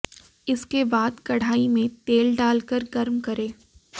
इसके बाद कढ़ाई में तेल डाल कर गर्म करें